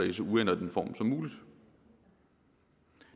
i så uændret en form som muligt